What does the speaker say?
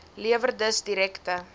lewer dus direkte